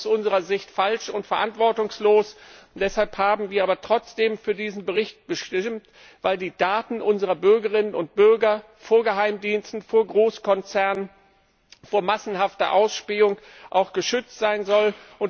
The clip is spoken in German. Das ist aus unserer Sicht falsch und verantwortungslos. Wir haben aber trotzdem für diesen Bericht gestimmt, weil die Daten unserer Bürgerinnen und Bürger vor Geheimdiensten, vor Großkonzernen, vor massenhafter Ausspähung geschützt sein sollen.